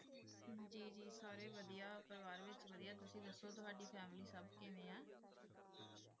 ਸਾਰੀ ਵਾਦੇਯਾ ਤੁਸੀਂ ਦਾਸੁ ਤੁਵਾਦੀ ਫੈਮਿਲੀ ਪੇਰਿਵੇਰ ਵੇਚ